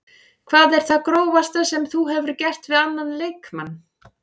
Hvað er það grófasta sem þú hefur gert við annan leikmann?